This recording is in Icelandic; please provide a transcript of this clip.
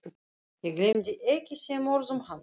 Ég gleymi ekki þeim orðum hans.